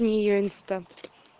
не её инста